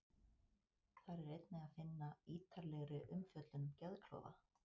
Þar er einnig að finna ítarlegri umfjöllun um geðklofa.